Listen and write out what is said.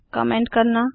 comment करना